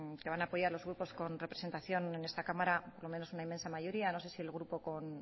que van a apoyar los grupos con representación en esta cámara por lo menos una inmensa mayoría no sé si el grupo con